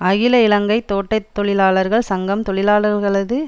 அகில இலங்கை தோட்ட தொழிலாளாளர்கள் சங்கம் தொழிலாளர்களது